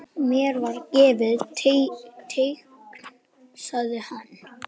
Mér var gefið teikn sagði hann.